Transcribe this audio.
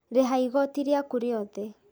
Rĩha igoti rĩaku riothe